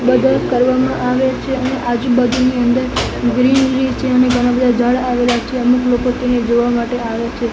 બધો કરવામાં આવે છે અને આજુ બાજુની અંદર ગ્રીનરી છે અને ઘણા બધા ઝાડ આવેલા છે અમુક લોકો તેને જોવા માટે આવે છે.